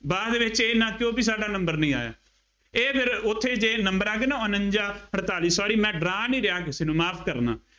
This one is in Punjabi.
ਬਾਅਦ ਵਿੱਚ ਇਹ ਨਾ ਕਿਹੋ ਬਈ ਸਾਡਾ number ਨਹੀਂ ਆਇਆ, ਇਹ ਫੇਰ ਉੱਥੇ ਜੇ number ਆ ਗਏ ਨਾ ਉਨੰਜ਼ਾ, ਅਠਤਾਲੀ, ਛਿਆਲੀ, ਮੈਂ ਡਰਾ ਨਹੀਂ ਰਿਹਾ ਕਿਸੇ ਨੂੰ, ਮੁਆਫ ਕਰਨਾ।